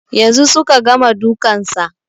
Yanzun suka gama dukan sa